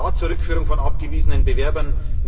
Ja zur Rückführung von abgewiesenen Bewerbern!